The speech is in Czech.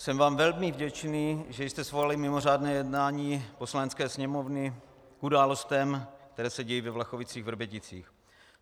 Jsem vám velmi vděčný, že jste svolali mimořádné jednání Poslanecké sněmovny k událostem, které se dějí ve Vlachovicích-Vrběticích.